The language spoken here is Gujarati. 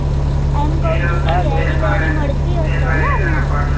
એમ કઉં છુ કે કેરી વેરી મળતી હશે ને હમણાં